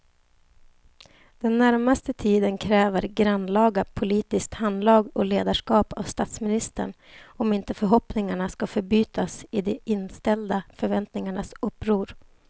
Den närmaste tiden kräver grannlaga politiskt handlag och ledarskap av statsministern om inte förhoppningarna ska förbytas i de inställda förväntningarnas uppror.